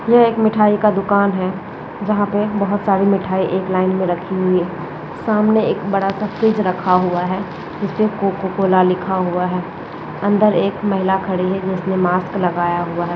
यह एक मिठाई का दुकान है जहाँ पे बहुत सारी मिठाई एक लाइन में रखी हुई है सामने एक बड़ा सा फ्रिज रखा हुआ है जिसपे कोको कोला लिखा हुआ है अंदर एक महिला खड़ी है जिसने मास्क लगाया हुआ है।